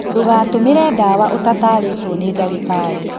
Ndũgatũmĩre ndawa ũtatarĩtwo nĩ ndagĩtarĩ